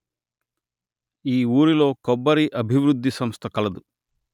ఈ ఊరిలో కొబ్బరి అభివృద్ది సంస్థ కలదు